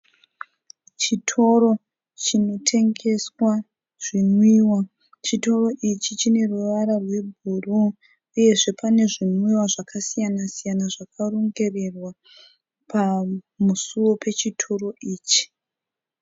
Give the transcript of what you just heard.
Chitoro chinotengeswa zvinwiwa. Chitoro ichi chine ruvara rwebhuru uyezve pane zvinwiwa zvakasiyana siyana zvakarongererwa pamusuwo wechitoro ichi.